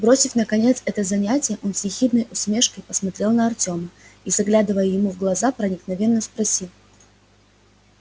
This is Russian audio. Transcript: бросив наконец это занятие он с ехидной усмешкой посмотрел на артёма и заглядывая ему в глаза проникновенно спросил